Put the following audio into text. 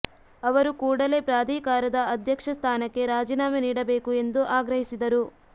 ಅವರು ಕೂಡಲೇ ಪ್ರಾಧಿಕಾರದ ಅಧ್ಯಕ್ಷ ಸ್ಥಾನಕ್ಕೆ ರಾಜೀನಾಮೆ ನೀಡಬೇಕು ಎಂದು ಆಗ್ರಹಿಸಿದರು